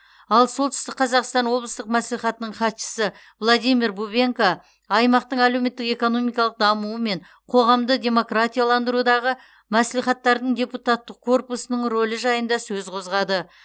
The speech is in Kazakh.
ал солтүстік қазақстан облыстық мәслихатының хатшысы владимир бубенко аймақтың әлеуметтік экономикалық дамуы мен қоғамды демократияландырудағы мәслихаттардың депутаттық корпусының рөлі жайында сөз қозғады